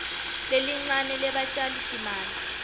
lelincane lebatjali timali